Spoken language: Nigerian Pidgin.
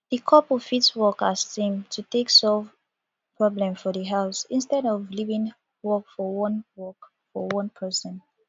di couple fit work as team to take solve problem for di house instead of leaving work for one work for one person